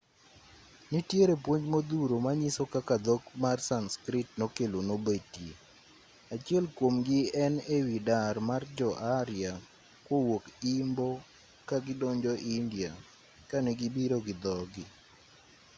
nitiere puonj modhuro manyiso kaka dhok mar sanskrit nokelo nobetie achiel kuomgi en ewi dar mar jo-arya kowuok imbo ka gidonjo india kane gibiro gi dhogi